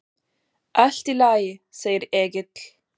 Allt í lagi, segir Egill.